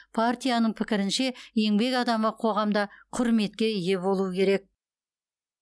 партияның пікірінше еңбек адамы қоғамда құрметке ие болуы керек